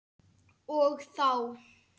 Og þá!